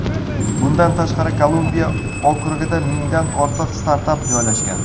Bundan tashqari, Kolumbiya okrugida mingdan ortiq startap joylashgan.